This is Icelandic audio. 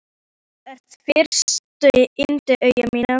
Þú ert fegursta yndi augna minna.